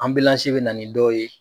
bɛ na nin dɔw ye.